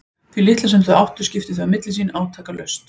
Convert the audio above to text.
Því litla sem þau áttu skiptu þau á milli sín átakalaust.